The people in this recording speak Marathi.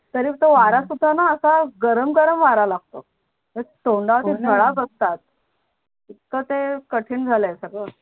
तरी तो वारा सुद्धाणा असा गरम गरम वारा लागतो तोंडात ते हो णा गडा बसतात इथक ते कटीन झाल आहे सगड